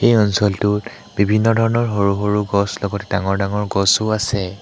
এই অঞ্চলটোত বিভিন্ন ধৰণৰ সৰু সৰু গছ লগতে ডাঙৰ ডাঙৰ গছো আছে।